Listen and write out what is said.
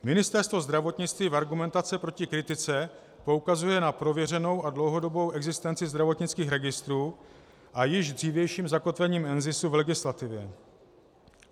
Ministerstvo zdravotnictví v argumentaci proti kritice poukazuje na prověřenou a dlouhodobou existenci zdravotnických registrů a již dřívější zakotvení NZISu v legislativě.